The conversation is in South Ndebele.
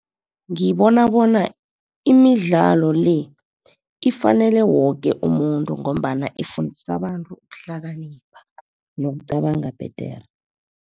Ngibona bona imidlalo le ifanele woke umuntu ngombana ifundisa abantu ukuhlakanipha, nokucabanga bhedere.